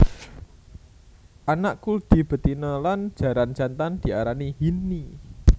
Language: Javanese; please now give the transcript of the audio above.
Anak kuldi betina lan jaran jantan diarani hinny